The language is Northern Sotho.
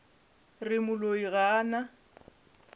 re moloi ga a na